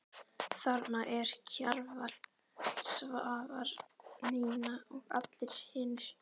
Þarna eru Kjarval, Svavar, Nína og allir hinir.